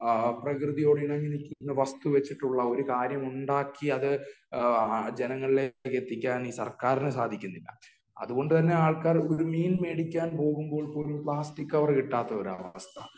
ആ പ്രകൃതിയോട് ഇണങ്ങി നില്ക്കുന്ന വസ്തു വച്ചിട്ടുള്ള ഒരു കാര്യം ഉണ്ടാക്കി അത് ജനങ്ങളിലേക്ക് എത്തിക്കാൻ സർക്കാരിന് സാധിക്കുന്നില്ല. അത് കൊണ്ട് തന്നെ ആൾക്കാർ ഒരു മീൻ മേടിക്കാൻ പോകുമ്പോൾ പോലും ഒരു പ്ലാസ്റ്റിക് കവര് കിട്ടാത്ത ഒരാളാണ് .